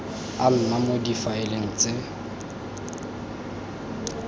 a nna mo difaeleng tse